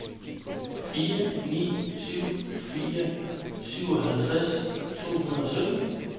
fire ni syv fire syvoghalvtreds to hundrede og sytten